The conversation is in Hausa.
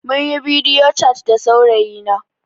Jiya munyi bidiyo cat da saurayi na